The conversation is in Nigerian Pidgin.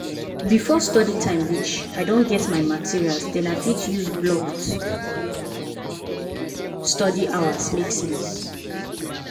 before study time reach i don get my materials den i fit use blocked study hours make sense